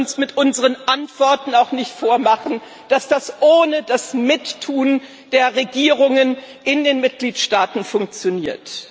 wir dürfen uns mit unseren Antworten auch nicht vormachen, dass das ohne das Mittun der Regierungen in den Mitgliedstaaten funktioniert.